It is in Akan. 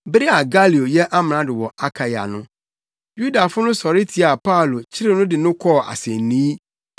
Bere a Galio yɛ amrado wɔ Akaia no, Yudafo no sɔre tiaa Paulo kyeree no de no kɔɔ asennii,